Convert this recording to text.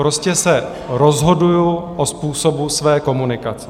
Prostě se rozhoduji o způsobu své komunikace.